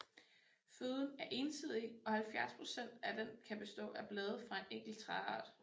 Føden er ensidig og 70 procent af den kan bestå af blade fra en enkelt træart